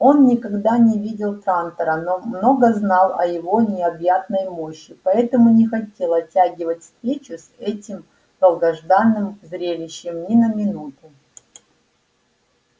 он никогда не видел трантора но много знал о его необъятной мощи поэтому не хотел оттягивать встречу с этим долгожданным зрелищем ни на минуту